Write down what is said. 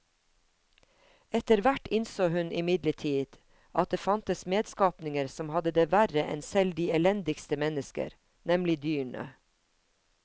Etterhvert innså hun imidlertid at det fantes medskapninger som hadde det verre enn selv de elendigste mennesker, nemlig dyrene.